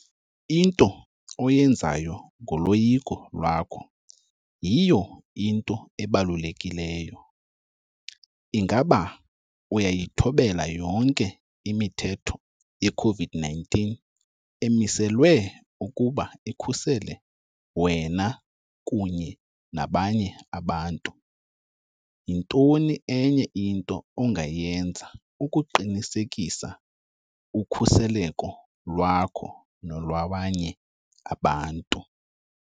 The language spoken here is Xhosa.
Into oyenzayo ngoloyiko lwakho yiyo into ebalulekileyo. Ingaba uyayithobela yonke imithetho ye-COVID-19 emiselwe ukuba ikhusele wena kunye nabanye abantu? Yintoni enye into ongayenza ukuqinisekisa ukhuseleko lwakho nolwabanye abantu?